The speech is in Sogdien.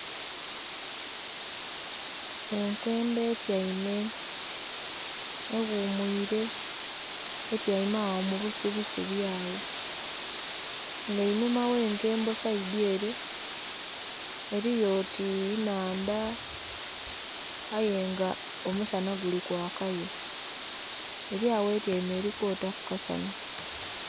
Enkembo etyeime eghumwiire, etyeime agho mubusubi subi agho nga einhuma gh'ekembo saidhyere eliyo oti nnhandha ayenga omusanha gulikwakayo elyagho etyeime elikwotaku kasanha.